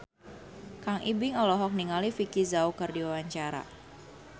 Kang Ibing olohok ningali Vicki Zao keur diwawancara